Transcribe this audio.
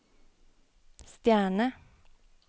stjerne